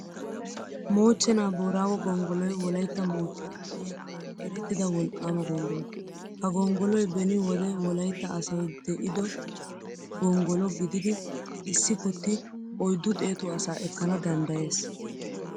Mochchenaa booraago gonggolloy Wolaytta moottan de'iyaa erettida wolqqaama gonggolo. Ha gonggolloy beni wode Wolaytta asay de'ido gonggolo gididi issi kutti oyddu xeetu asaa ekkana danddayees.